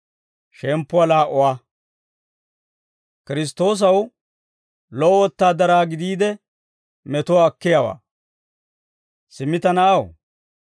Simmi ta na'aw, Kiristtoosi Yesuusan de'iyaa aad'd'o keekatetsan minna.